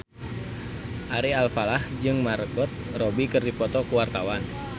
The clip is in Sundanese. Ari Alfalah jeung Margot Robbie keur dipoto ku wartawan